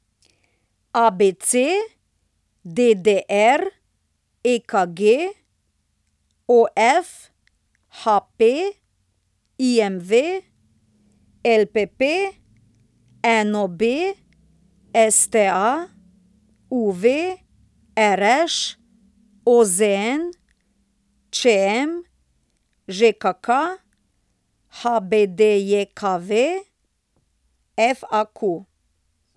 ABC, DDR, EKG, OF, HP, IMV, LPP, NOB, STA, UV, RŠ, OZN, ČM, ŽKK, HBDJKV, FAQ.